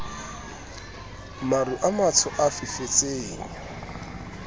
maru a matsho a fifetseng